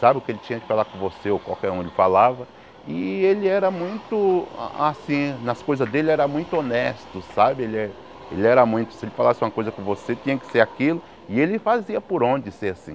sabe, o que ele tinha de falar com você ou qualquer um ele falava, e ele era muito, a assim, nas coisas dele era muito honesto, sabe, ele era muito, se ele falasse uma coisa com você, tinha que ser aquilo, e ele fazia por onde ser assim.